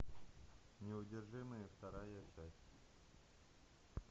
неудержимые вторая часть